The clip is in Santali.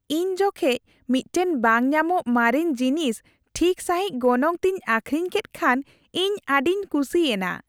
ᱤᱧ ᱡᱚᱠᱷᱮᱡ ᱢᱤᱫᱴᱟᱝ ᱵᱟᱝ ᱧᱟᱢᱚᱜ ᱢᱟᱨᱮᱱ ᱡᱤᱱᱤᱥ ᱴᱷᱤᱠ ᱥᱟᱹᱦᱤᱡ ᱜᱚᱱᱚᱝ ᱛᱮᱧ ᱟᱹᱠᱷᱨᱤᱧ ᱠᱮᱫ ᱠᱷᱟᱱ ᱤᱧ ᱟᱹᱰᱤᱧ ᱠᱩᱥᱤᱭᱮᱱᱟ ᱾